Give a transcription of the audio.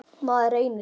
Maður reynir.